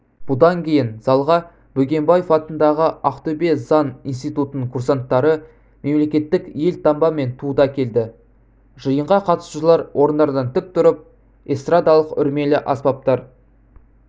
бұдан кейін залға бөкенбаев атындағы ақтөбе заң институтының курсанттары мемлекеттік елтаңба мен туды әкелді жиынға қатысушылар орындарынан тік тұрып эстрадалық-үрлемелі аспаптар